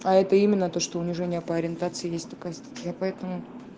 а это именно то что унижение по ориентации есть такая статья поэтому